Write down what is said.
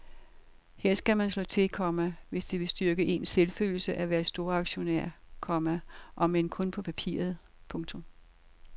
Her skal man slå til, komma hvis det vil styrke ens selvfølelse at være storaktionær, komma om end kun på papiret. punktum